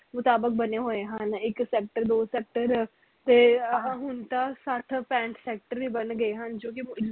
ਮੁਤਾਬਿਕ ਬਣੇ ਹੋਏ ਹਨ ਇਕ sector ਦੋ sector ਤੇ ਹੁਣ ਸੱਠ ਪੈਂਠ sector ਵੀ ਬਣ ਗਏ ਹਨ ਜੋ ਕਿ